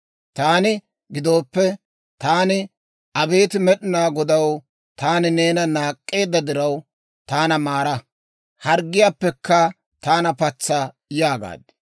Taana gidooppe, taani, «Abeet Med'inaa Godaw, taani neena naak'k'eedda diraw, taana maara; Harggiyaappekka taana patsa» yaagaad.